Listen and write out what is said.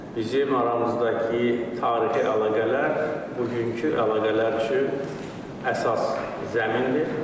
Bizim aramızdakı tarixi əlaqələr bugünkü əlaqələr üçün əsas zəmindir.